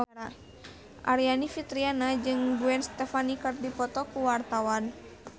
Aryani Fitriana jeung Gwen Stefani keur dipoto ku wartawan